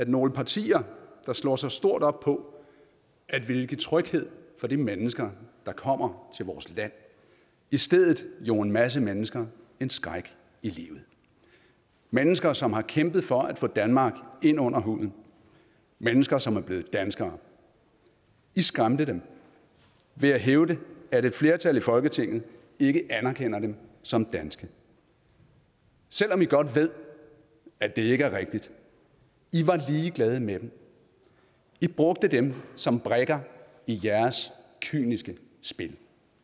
nogle partier der slår sig stort op på at ville give tryghed for de mennesker der kommer til vores land i stedet jog en masse mennesker en skræk i livet mennesker som har kæmpet for at få danmark ind under huden mennesker som er blevet danskere i skræmte dem ved at hævde at et flertal i folketinget ikke anerkender dem som danske selv om i godt ved at det ikke er rigtigt i var ligeglade med dem i brugte dem som brikker i jeres kyniske spil